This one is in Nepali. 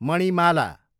मणिमाला